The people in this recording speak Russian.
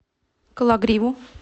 кологриву